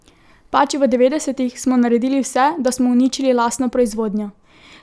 Pač, v devetdesetih smo naredili vse, da smo uničili lastno proizvodnjo.